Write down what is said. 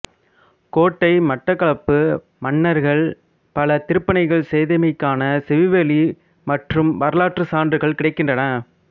கோட்டை மட்டக்களப்பு மன்னர்கள் பல திருப்பணிகள் செய்தமைக்கான செவிவழி மற்றும் வரலாற்றுச் சான்றுகள் கிடைக்கின்றன